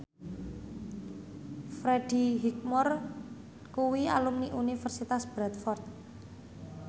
Freddie Highmore kuwi alumni Universitas Bradford